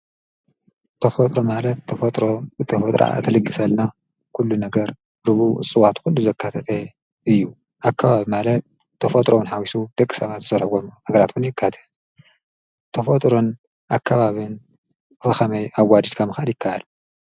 ተፈጥሮ ማለት ተፈጥሮ ብተፈጥሮኣ እትልግሰልና ኩሉ ነገር ብእፅዋት ኩሉ ዘካተተ እዩ። ኣከባቢ ማለት ተፈጥሮ እውን ሓዊሱ ደቂ ሰባት ዝሰርሕዎም ነገራት እውን የካትት። ተፈጥሮን ኣከባቢን ብከመይ ኣዋዲድካ ምካድ ይካኣል?